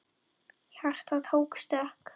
Hjartað tók stökk!